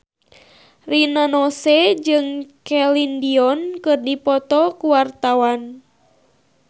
Rina Nose jeung Celine Dion keur dipoto ku wartawan